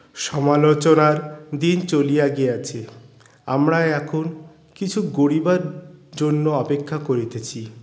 সমালোচনার দিন চলিয়া গিয়াছে আমরা এখন কিছু গরিবার জন্য অপেক্ষা করিতেছি